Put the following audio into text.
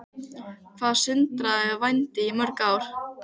Hvað stundaðirðu vændi í mörg ár?